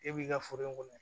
E b'i ka foro in kɔnɔ